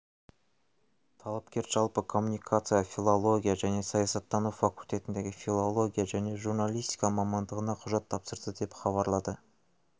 талапкер жалпы коммуникация филология және саясаттану факультетіндегі филология және журналистика мамандығына құжат тапсырды деп хабарлады